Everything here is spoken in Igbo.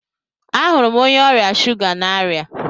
Ahụrụ m onye ọrịa shuga n'aria